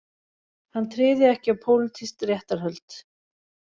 Hann tryði ekki á pólitísk réttarhöld